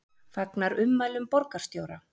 Fagnar ummælum borgarstjóra